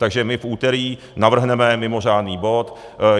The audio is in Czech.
Takže my v úterý navrhneme mimořádný bod.